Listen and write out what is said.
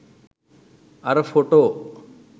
අර ෆොටෝ?